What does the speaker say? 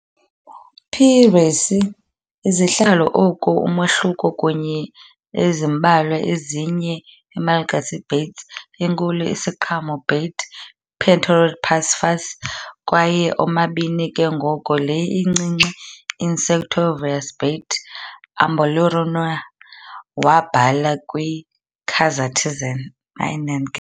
"P. raceyi" izihlalo oku umahluko kunye ezimbalwa ezinye eMalagasy bats- enkulu isiqhamo bat "Pteropus rufus" kwaye omabini ke ngoko le incinci insectivorous bat "Emballonura" wabhala kwiKazakhstan.